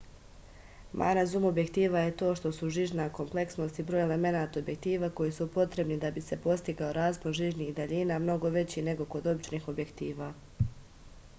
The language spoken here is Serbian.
mana zum objektiva je ta što su žižna kompleksnost i broj elemenata objektiva koji su potrebni da bi se postigao raspon žižnih daljina mnogo veći nego kod običnih objektiva